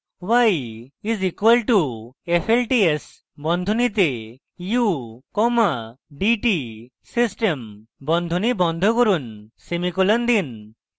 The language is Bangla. y is equal to f l t s বন্ধনীতে u comma d t system বন্ধনী বন্ধ করুন সেমিকোলন দিন